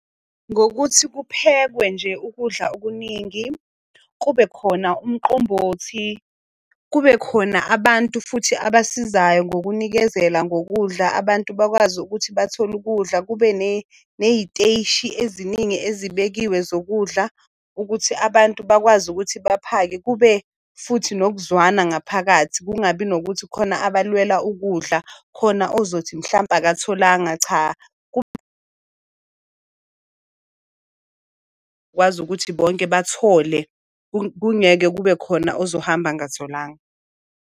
Ngokuthi kuphekwe nje ukudla okuningi, kube khona umqombothi, kube khona abantu futhi abasizayo ngokunikezela ngokudla. Abantu bakwazi ukuthi bathole ukudla. Kube ney'teshi eziningi ezibekiwe zokudla, ukuthi abantu bakwazi ukuthi baphake. Kube futhi nokuzwana ngaphakathi kungabi nokuthi khona abalwela ukudla. Khona ozothi mhlampe akatholanga. Cha kwazi ukuthi bonke bathole, kungeke kube khona ozohamba angatholanga.